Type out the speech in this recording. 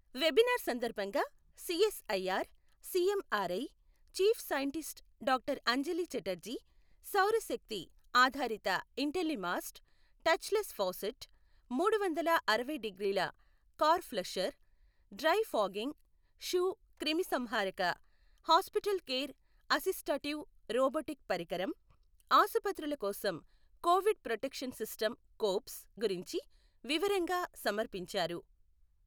Webinar సందర్భంగా CSIR CMRI chief scientist doctor Anjali Chatterjee, సౌరశక్తి ఆధారిత ఇంటెల్లిమాస్ట్, టచ్లెస్ ఫౌసెట్, మూడు వందల అరవై డిగ్రీల car flusher, dry fogging shoe క్రిమిసంహారక, హాస్పిటల్ కేర్ అసిస్టటివ్ రోబోటిక్ పరికరం, ఆసుపత్రుల కోసం కోవిడ్ ప్రొటెక్షన్ సిస్టమ్ కోప్స్ గురించి వివరంగా సమర్పించారు.